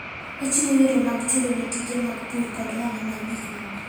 Ochiwo yore mag chulo ne tije mag pur koda ohala mag gik moko.